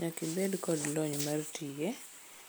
Nyaka ibed kod lony mar tiye.